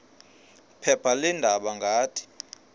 phepha leendaba ngathi